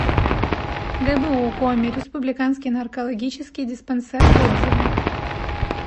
гбу коми республиканский наркологический диспансер отзывы